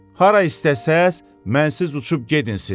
Hara istəsəz mənsiz uçub gedin siz.